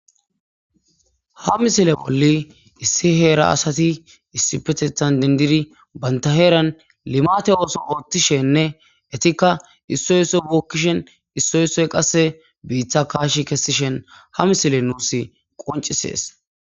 Ha misile bolli issi heera asazi issipetetan dendid banta heeran limate ootho othishenne etika issoy issoy bookishn issoy issoy qase biita kaashi kesishn ha misiley nuusi qoncises.